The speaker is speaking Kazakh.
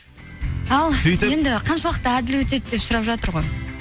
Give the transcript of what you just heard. ал сөйтіп енді қаншалықты әділ өтеді деп сұрап жатыр ғой